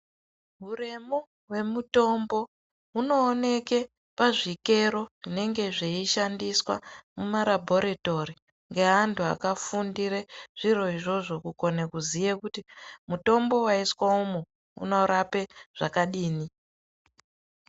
Huremu hwemutombo hunooneke pazvikero zvinenge zveishandiswa mumarabhoritori ngeantu akafundire zviro izvozvo, kukone kuziye kuti mutombo waiswe umu unorape zvakadini.